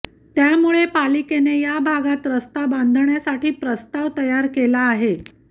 त्यामुळे पालिकेने या भागात रस्ता बांधण्यासाठी प्रस्ताव तयार केला आहे